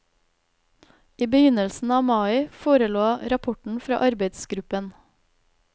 I begynnelsen av mai forelå rapporten fra arbeidsgruppen.